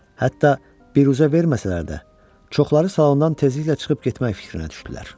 Hətta büruzə verməsələr də, çoxları salondan tezliklə çıxıb getmək fikrinə düşdülər.